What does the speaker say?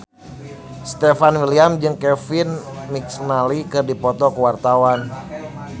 Stefan William jeung Kevin McNally keur dipoto ku wartawan